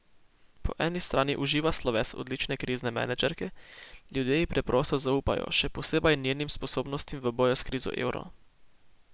Po eni strani uživa sloves odlične krizne menedžerke, ljudje ji preprosto zaupajo, še posebej njenim sposobnostim v boju s krizo evra.